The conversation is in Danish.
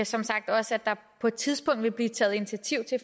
som sagt også at der på et tidspunkt vil blive taget initiativ